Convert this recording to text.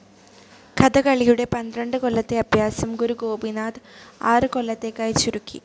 കഥകളിയുടെ പന്ത്രണ്ട് കൊല്ലത്തെ അഭ്യാസം ഗുരു ഗോപിനാഥ് ആറ് കൊല്ലത്തേക്കാക്കി ചുരുക്കി.